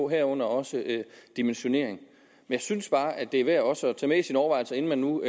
herunder også dimensionering jeg synes bare det er værd også at tage med i sine overvejelser inden man nu